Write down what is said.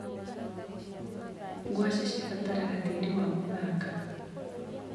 Ngwaci cibataraga tĩrĩ wa mũthanga.